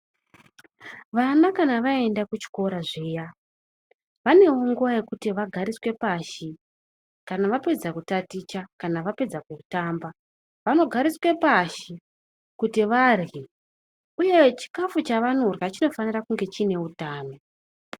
Vana kana vaenda kuchikora zviya vaneo nguwa yekuti vagariswe pashi kana vapedza kutaticha kana vapedza kutamba vanogariswe pashi kuti varye uye chikafu chavanorya chinofanira kunge chine utano.